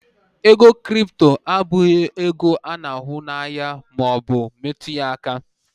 ego crypto abụghị ego a n'ahụ na anya ma o bu metu ya aka